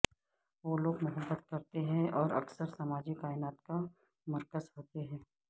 وہ لوگ محبت کرتے ہیں اور اکثر سماجی کائنات کا مرکز ہوتے ہیں